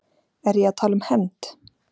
Er ég að tala um hefnd?